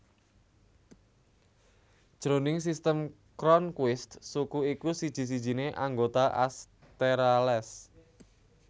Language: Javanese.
Jroning Sistem Cronquist suku iku siji sijiné anggota Asterales